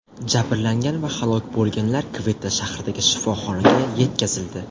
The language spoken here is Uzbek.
Jabrlangan va halok bo‘lganlar Kvetta shahridagi shifoxonaga yetkazildi.